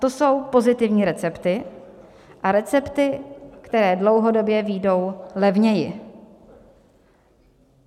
To jsou pozitivní recepty a recepty, které dlouhodobě vyjdou levněji.